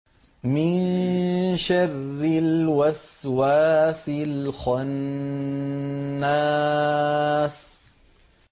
مِن شَرِّ الْوَسْوَاسِ الْخَنَّاسِ